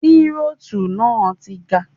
Tírótù náà ti gan.